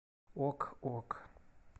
ок ок